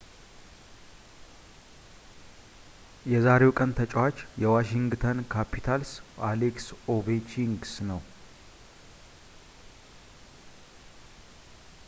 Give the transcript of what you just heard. የዛሬው ቀን ተጫዋች የዋሺንግተን ካፒታልስ አሌክስ ኦቬችኪን ነው